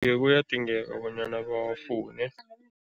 Iye, kuyadingeka bonyana bawafune.